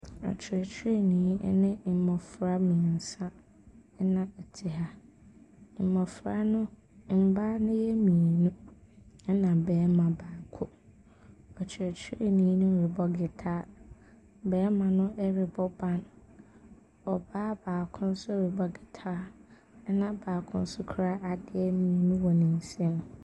Ɔkyerɛkyerɛni ne mmofra mmiɛnsa na wɔte ha. Mmofra no, mmaa no yɛ mmienu na ɔbaa baako. Ɔkyerɛkyerɛni no rebɔ gyitaa. Na barima no rebɔ ban. Ɔbaa baako nso rebɔ gintaa. Na baako nso kura adeɛ mmienu wɔ ne nsam.